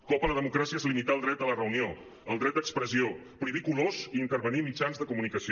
cop a la democràcia és limitar el dret a la reunió el dret d’expressió prohibir colors i intervenir mitjans de comunicació